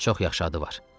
Çox yaxşı adı var.